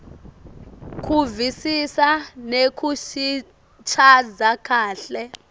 kuvisisa nekusichaza kahle